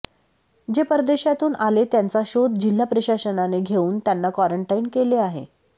जे परेदशातून आले त्यांचा शोध जिल्हा प्रशासनाने घेवून त्यांना क्वारंरटाईन केले आहे